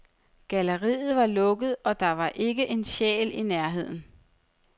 Galleriet var lukket, og der var ikke en sjæl i nærheden.